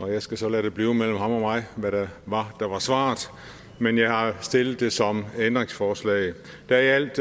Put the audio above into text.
og jeg skal så lade det blive mellem ham og mig hvad der var der var svaret men jeg har stillet det som ændringsforslag der er i alt